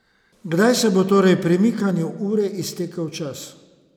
Kdaj se bo torej premikanju ure iztekel čas?